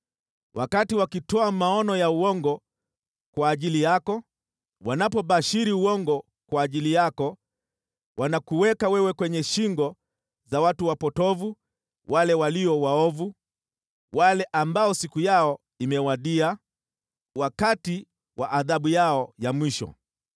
Wakati wakitoa maono ya uongo kwa ajili yako, wanapobashiri uongo kwa ajili yako, wanakuweka wewe kwenye shingo za watu wapotovu, wale walio waovu, wale ambao siku yao imewadia, wakati wa adhabu yao ya mwisho.